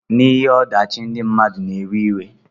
Na ihe odachi ndi mmadu na ewe iwe.